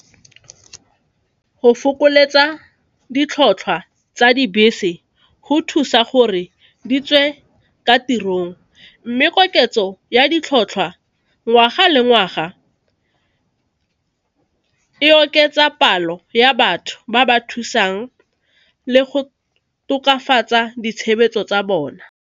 Go fokoletsa ditlhotlhwa tsa dibese go thusa gore di tswe ka tirong mme koketso ya ditlhotlhwa ngwaga le ngwaga e oketsa palo ya batho ba ba thusang le go tokafatsa ditshebetso tsa bona.